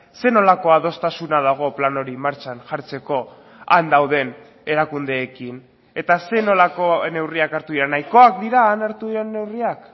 zer nolako adostasuna dago plan hori martxan jartzeko han dauden erakundeekin eta zer nolako neurriak hartu dira nahikoak dira han hartu diren neurriak